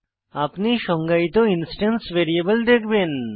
আপনি সংজ্ঞায়িত instance variable দেখবেন